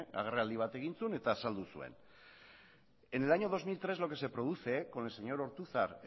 agerraldi bat egin zuen eta azaldu zuen en el año dos mil tres lo que se produce con el señor ortuzar